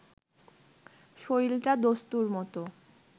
শরীরটা দস্তুরমতো